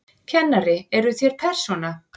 Kennari: Eruð þér persóna?